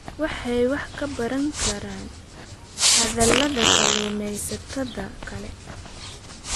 Waxay wax ka baran karaan khaladaadka kalluumaysatada kale.